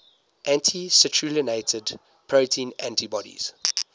anti citrullinated protein antibodies